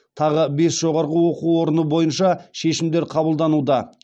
тағы бес жоғарғы оқу орыны бойынша шешімдер қабылдануда